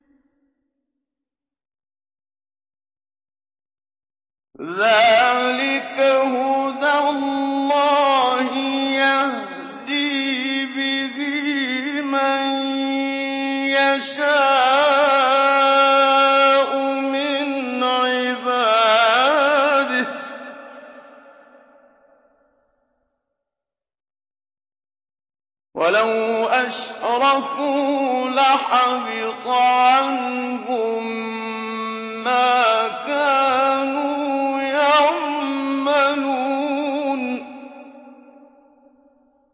ذَٰلِكَ هُدَى اللَّهِ يَهْدِي بِهِ مَن يَشَاءُ مِنْ عِبَادِهِ ۚ وَلَوْ أَشْرَكُوا لَحَبِطَ عَنْهُم مَّا كَانُوا يَعْمَلُونَ